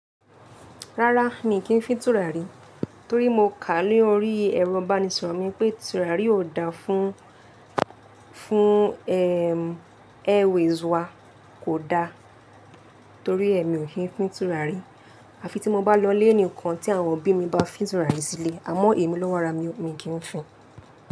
Rárá mi kì fín tùràrí torí mo kà á lórí ẹ̀rọ ìbánisọ̀rọ̀ mi pé tùràrí ò da fún, fún ẹm, airwaves wá kò da torí ẹ mi ò kí n fín tùràrí. À fi tí mo bá lọ lé nìkan tí àwọn òbí mi bá fín tùràrí síle, àmọ́ èmi lówo arà mi kì fín.